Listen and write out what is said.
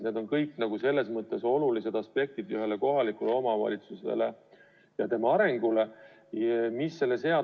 Need on kõik olulised aspektid ühe kohaliku omavalitsuse elu arendamises.